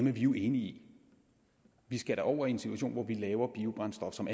er vi jo enige i vi skal da over i en situation hvor vi laver biobrændstof som